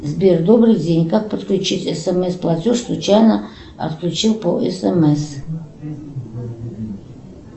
сбер добрый день как подключить смс платеж случайно отключил по смс